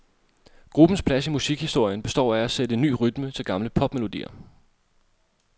Gruppens plads i musikhistorien består af at sætte ny rytme til gamle popmelodier.